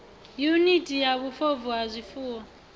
yuniti ya vhufobvu ha zwifuwo